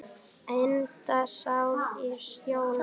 Henda sér í sjóinn?